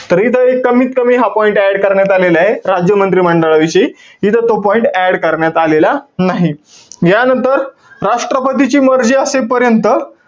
तर इथं एक कमीत कमी हा point add करण्यात आलेलाय, राज्य मंत्रिमंडळाविषयी. इथं तो point add करण्यात आलेला नाही. यानंतर, राष्ट्रपतींची मर्जी असेपर्यंत,